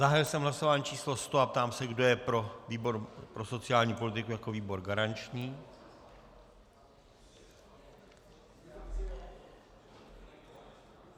Zahájil jsem hlasování číslo 100 a ptám se, kdo je pro výbor pro sociální politiku jako výbor garanční.